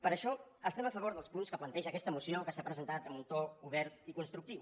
per això estem a favor dels punts que planteja aquesta moció que s’ha presentat amb un to obert i constructiu